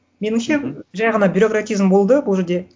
меніңше жай ғана бюрократизм болды бұл жерде